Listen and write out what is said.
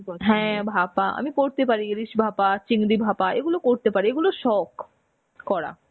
হ্যাঁ ভাপা, আমি করতে পারি. ইলিশ ভাপা, চিংড়ি ভাপা এগুলো করতে পারি. এগুলো শখ করা.